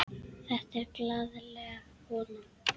Þetta er glaðleg kona.